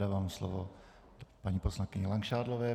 Dávám slovo paní poslankyni Langšádlové.